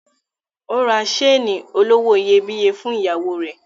Ó ra seeni olówó iyebíye fún ìyàwó rẹ̀.